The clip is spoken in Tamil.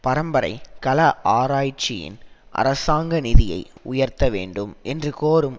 பரம்பரை கல ஆராய்ச்சியின் அரசாங்க நிதியை உயர்த்த வேண்டும் என்று கோரும்